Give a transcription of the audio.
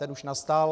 Ten už nastal.